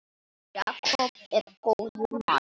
Jakob er góður maður, Róbert.